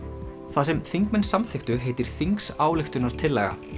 það sem þingmenn samþykktu heitir þingsályktunartillaga